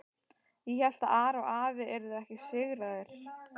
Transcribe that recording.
Ég hélt að Ari og afi yrðu ekki sigraðir.